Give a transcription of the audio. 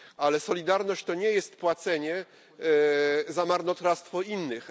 Ale solidarność to nie jest płacenie za marnotrawstwo innych.